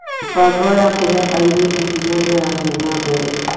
Mĩbango ya kũhe airĩtu hinya nĩ ĩrathiĩ na mbere.